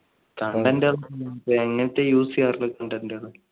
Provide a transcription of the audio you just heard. താങ്കളുടെ ഇങ്ങനത്തെ use ചെയ്യാറില്ല content കള്